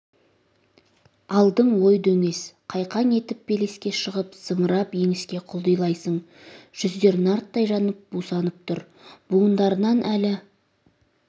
алдың ой-дөңес қайқаң етіп белеске шығып зымырап еңіске құлдилайсың жүздер нарттай жанып бусанып тұр буындарынан әлі